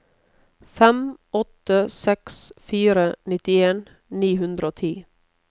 fem åtte seks fire nittien ni hundre og ti